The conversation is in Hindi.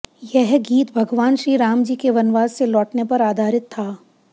यह गीत भगवान श्रीरामजी के वनवास से लौटने पर आधारित था